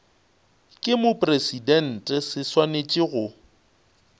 ke mopresidente se swanetše go